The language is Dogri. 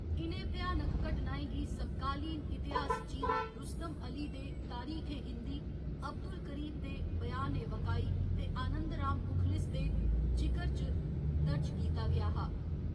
इ'नें भयानक घटनाएं गी समकालीन इतिहास जि'यां रुस्तम अली दे तारिख ए हिंदी, अब्दुल करीम दे ब्यान ए वकाई ते आनंद राम मुखलिस दे जिकर च दर्ज कीता गेआ हा।